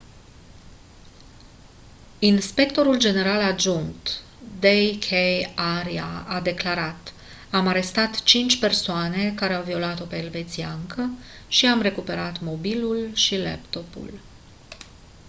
inspectorul general adjunct d. k. arya a declarat: «am arestat cinci persoane care au violat-o pe elvețiancă și i-am recuperat mobilul și laptopul».